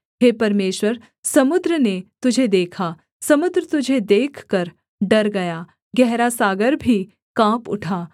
हे परमेश्वर समुद्र ने तुझे देखा समुद्र तुझे देखकर डर गया गहरा सागर भी काँप उठा